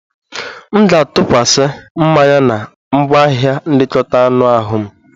M ga-atụkwasi mmanya na ngwaahịa nlekọta anụ ahụ m